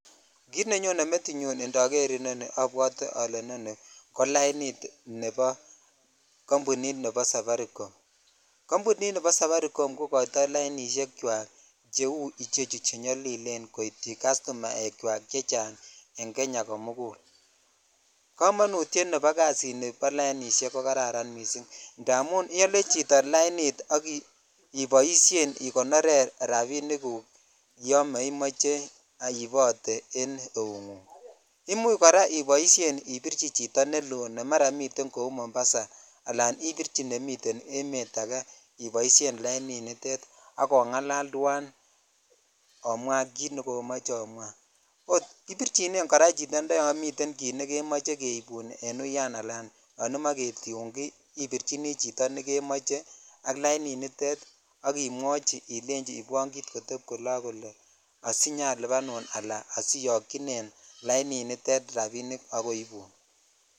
Kit nenyone metinyun indoor nii obwotee ole inoni ko lainit kambunit nebo safaricom kambunit nebo safaricom kokoitoi lainishek chwak cheu chu chenyolilen koityi kastumakchwak chechang en Kenya komukul, kamonutyet ab lainishe chuu ko karan indamun iyolee chito lainit iboishen ikonoren rabishek guk Yon memoche iibotee en eungungimuch koraa iboishen ibirchi chito nelo ne maraa miten kou mombasa alan ibirchi nemiten emet akee iboishen laininiton ako ongalal twan omwa kit nekoomoche omwa ibirchinen chitio kora Yon miten kit nemiche keibun en uyan ala yon imoche ketiun ki ibirchini chito neimoche ak laniniton ak imwochii ilei omoche kotep kole ak kole siyalibanun ala asiyokyinen laininiton rabinik ak koibun.